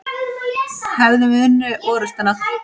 Hefðum við unnið orustuna?